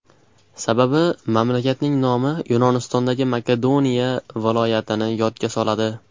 Sababi mamlakatning nomi Yunonistondagi Makedoniya viloyatini yodga soladi.